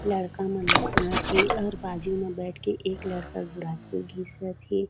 लड़का मन नहात हे और बाजु म बैठ के एक लड़का गुड़ाखू घिसत हे।